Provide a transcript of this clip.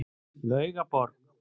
Laugaborg